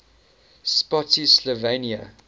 spottsylvania